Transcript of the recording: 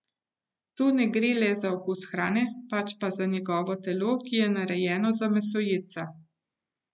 Tu ne gre le za okus hrane, pač pa za njegovo telo, ki je narejeno za mesojedca.